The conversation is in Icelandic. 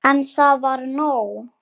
En það var nóg.